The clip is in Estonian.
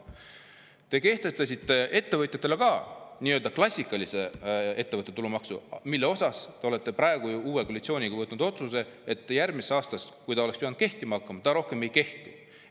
Te kehtestasite ettevõtjatele ka nii-öelda klassikalise ettevõtte tulumaksu, mille kohta te olete ju uues koalitsioonis võtnud vastu otsuse, et järgmisest aastast, kui see oleks pidanud kehtima hakkama, see enam ei kehti.